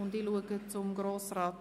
Ich blicke zu Grossrat